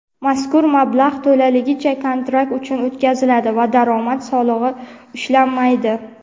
mazkur mablag‘ to‘laligicha kontrakt uchun o‘tkaziladi va daromad solig‘i ushlanmaydi.